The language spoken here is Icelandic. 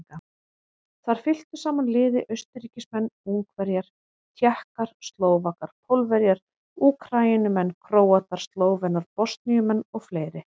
Þar fylktu saman liði Austurríkismenn, Ungverjar, Tékkar, Slóvakar, Pólverjar, Úkraínumenn, Króatar, Slóvenar, Bosníumenn og fleiri.